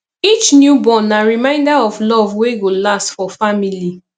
each newborn na reminder of love wey go last for family